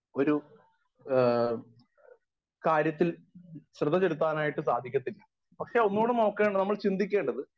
Speaker 1 ഒരു ആ കാര്യത്തിൽ ശ്രെദ്ധചെലുത്താനായിട്ട് സാധിക്കത്തില്ല. പക്ഷെ ഒന്നുടെ നോക്കേണ്ടത് നമ്മൾ ചിന്തിക്കേണ്ടത്